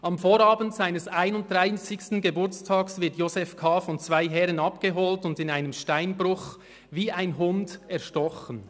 Am Vorabend seines 31. Geburtstags wird Josef K. von zwei Herren abgeholt und in einem Steinbruch wie ein Hund erstochen.